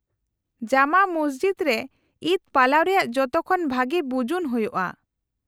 -ᱡᱟᱢᱟ ᱢᱚᱥᱡᱤᱫ ᱨᱮ ᱤᱫ ᱯᱟᱞᱟᱣ ᱨᱮᱭᱟᱜ ᱡᱚᱛᱚᱠᱷᱚᱱ ᱵᱷᱟᱹᱜᱤ ᱵᱩᱡᱩᱱ ᱦᱩᱭᱩᱜᱼᱟ ᱾